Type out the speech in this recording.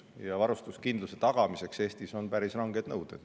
Ja varustuskindluse tagamiseks Eestis on päris ranged nõuded.